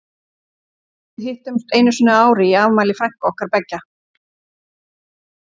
Við hittumst einu sinni á ári í afmæli frænku okkar beggja.